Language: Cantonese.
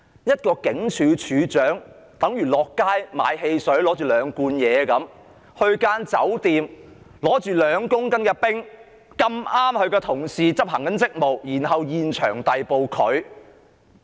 一名警署警長上街買兩罐汽水，在酒店手持2公斤冰毒，剛巧遇上同事執行職務，被當場逮捕。